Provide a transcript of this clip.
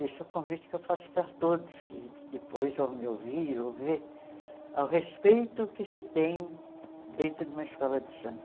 Esse é o convite que eu faço para todos que depois vão me ouvir ou ver, ao respeito que se tem dentro de uma escola de samba.